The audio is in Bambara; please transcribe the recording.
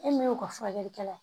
E min y'o ka furakɛlikɛla